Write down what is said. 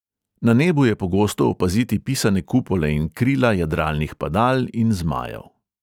Na nebu je pogosto opaziti pisane kupole in krila jadralnih padal in zmajev.